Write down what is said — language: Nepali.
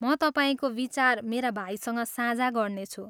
म तपाईँको विचार मेरा भाइसँग साझा गर्नेछु।